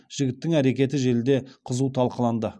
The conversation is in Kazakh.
жігіттің әрекеті желіде қызу талқыланды